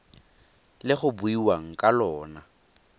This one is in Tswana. le go buiwang ka lona